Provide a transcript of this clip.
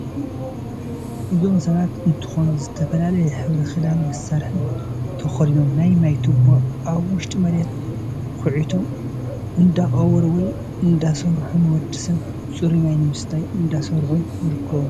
እዞም ሰባት እንትኮኑ ዝተፊላለየ ሕብሪ ክዳን መሳርሕ ተከዴኖም ናይ ማይ ትቦ አብ ውሽጥ መሬት ኩዒቶም እዳቀረቡ ወይ እዳሰርሑ ነወድሰብ ፁሩይ ማይ ንምስታይ እዳተሰርሑ ነይርከቡ ።